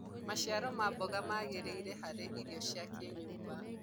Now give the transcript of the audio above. maciaro ma mboga magiriire harĩ irio cia kĩnyumba